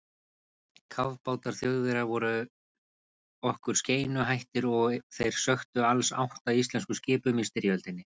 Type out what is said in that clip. Kafbátar Þjóðverja voru okkur skeinuhættir og þeir sökktu alls átta íslenskum skipum í styrjöldinni.